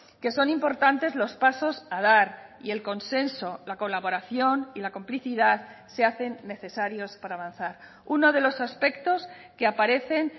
que son importantes los pasos a dar y el consenso la colaboración y la complicidad se hacen necesarios para avanzar uno de los aspectos que aparecen